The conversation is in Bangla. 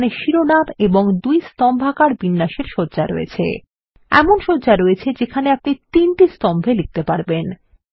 এখালে শিরোনাম এবং দুই স্তম্ভাকার বিন্যাসের সজ্জা রয়েছে এমন সজ্জা রয়েছে যেখানে আপনি তিনটি স্তম্ভে লিখতে পারবেন